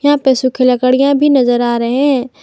यहां पे सुखी लकड़ियां भी नजर आ रहे हैं।